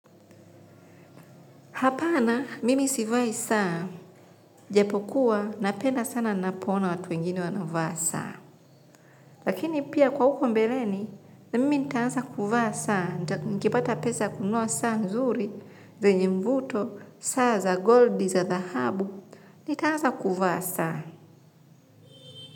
Hapana, mimi sivai saa, japokuwa, napenda sana nina poona watu wengine wanavaa saa. Lakini pia kwa huko mbeleni, mimi nitaanza kuvaa saa, nikipata pesa ya kununua saa nzuri, zenye mvuto, saa za goldi za dhahabu, nitaanza kuvaa saa.